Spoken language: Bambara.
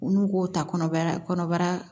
U n'u k'o ta kɔnɔbara kɔnɔbara